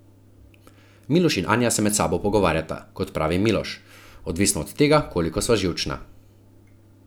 Miloš in Anja se med sabo pogovarjata, kot pravi Miloš: "Odvisno od tega, koliko sva živčna.